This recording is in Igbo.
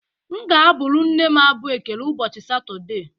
M ga-abụrụ nne m abụ ekele ụbọchị Satọde